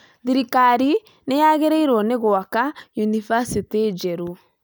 Thirikari nĩ yagĩrĩirwo nĩ gwaka yunivasĩtĩ njerũ